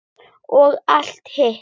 Og allt hitt.